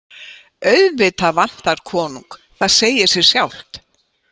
Auðvitað vantar konung, það segir sig sjálft.